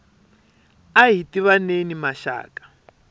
ahi tivaneni maxaka